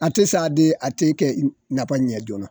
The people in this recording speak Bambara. A te sa de a te kɛ i b napa ɲɛ joona.